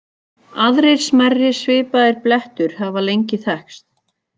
Aðrir smærri svipaðir blettur hafa lengi þekkst.